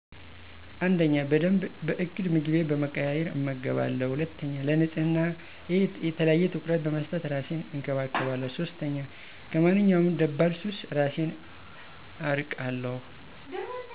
፩) በደንብ በእቅድ ምግቤን በመቀያየር እመገባለሁ። ፪) ለንጽህናየ የተለየ ትኩረት በመስጠት እራሴን እንከባከባለሁ። ፫) ከማንኛውም ደባል ሱስ እራሴን አርቃለሁ።